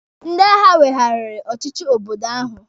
Ndị agha weghariri ọchịchị obodo ahụ.